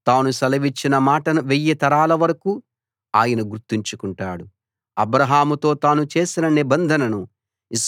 తాను సెలవిచ్చిన మాటను వెయ్యి తరాల వరకూ ఆయన గుర్తుంచుకుంటాడు అబ్రాహాముతో తాను చేసిన నిబంధనను